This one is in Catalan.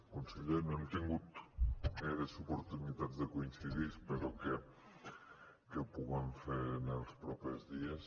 conseller no hem tingut gaires oportunitats de coincidir espero que ho puguem fer en els propers dies